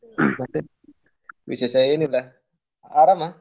ಮತ್ತೆ ವಿಶೇಷ ಏನ್ ಇಲ್ಲ, ಆರಾಮ?